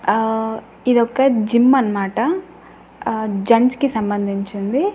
ఆ ఇది ఒక జిమ్ అన్నమాట ఆ జెంట్స్ కి సంబంధించింది.